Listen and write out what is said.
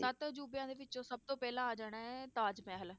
ਸੱਤ ਅਜ਼ੂਬਿਆਂ ਦੇ ਵਿੱਚ ਸਭ ਤੋਂ ਪਹਿਲਾਂ ਆ ਜਾਣਾ ਹੈ ਤਾਜ ਮਹਿਲ